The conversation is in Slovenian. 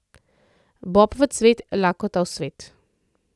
Bob v cvet, lakota v svet.